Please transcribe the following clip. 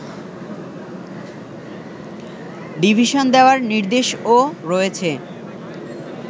division দেয়ার নির্দেশও রয়েছে